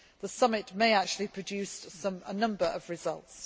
The summit may actually produce a number of results.